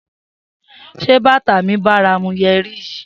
Se bata mi baramu yeri yi?